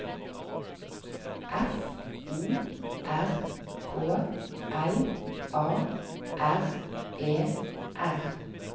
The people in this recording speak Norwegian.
F O R K L A R E R